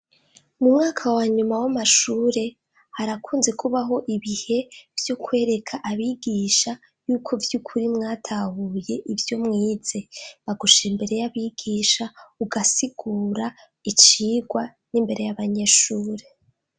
Mu mwaka wa nyuma w'amashure harakunze kubaho ibihe vyo kwereka abigisha y'uko by'ukuri mwatahuye ibyo mwize bagushira imbere y'abigisha ugasigura icigwa n'imbere y'abanyeshure.